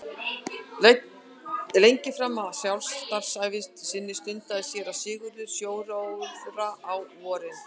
Lengi framan af starfsævi sinni stundaði séra Sigurður sjóróðra á vorin.